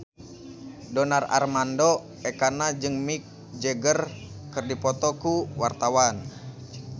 Donar Armando Ekana jeung Mick Jagger keur dipoto ku wartawan